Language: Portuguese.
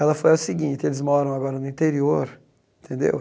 Ela falou o seguinte, eles moram agora no interior, tendeu?